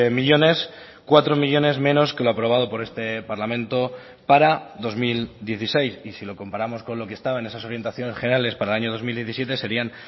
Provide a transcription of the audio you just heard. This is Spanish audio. millónes cuatro millónes menos que lo aprobado por este parlamento para dos mil dieciséis y si lo comparamos con lo que estaba en esas orientaciones generales para el año dos mil diecisiete serían